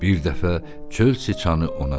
Bir dəfə çöl çıçanı ona dedi.